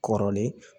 Kɔrɔlen